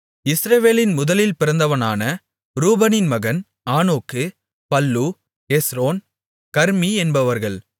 இஸ்ரவேலின் முதலில் பிறந்தவனான ரூபனின் மகன் ஆனோக்கு பல்லூ எஸ்ரோன் கர்மீ என்பவர்கள்